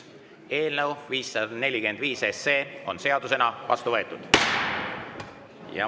Eelnõu 545 on seadusena vastu võetud.